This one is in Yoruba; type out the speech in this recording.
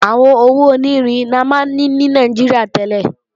Àwọn owó onírin la máa ná ní Nàìjíríà tẹ́lẹ̀